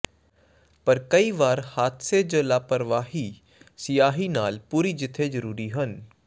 ਪਰ ਕਈ ਵਾਰ ਹਾਦਸੇ ਜ ਲਾਪਰਵਾਹੀ ਸਿਆਹੀ ਨਾਲ ਪੂਰੀ ਜਿੱਥੇ ਜ਼ਰੂਰੀ ਹਨ